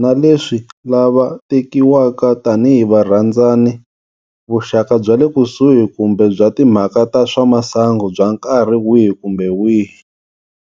na leswi lava tekiwaka tanihi varhandzani, vuxaka bya le kusuhi kumbe bya timhaka ta swa masangu bya nkarhi wihi kumbe wihi.